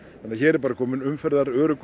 hér er bara kominn